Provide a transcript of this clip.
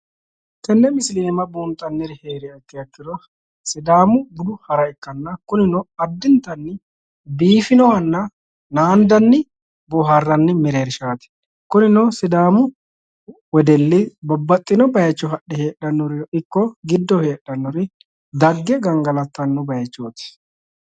Tenne misile iima buunxanniri heeriha ikkiha ikkiro sidaamu budu hara ikkanna kuninno addintanni biifinohanna naandani bohaaranni mereershaati. Kunino sidaamu wedelli babbaxxino bayiicho hadhe heedhanori ikko giddo heedhanori dagge gangalattanno baayichooti.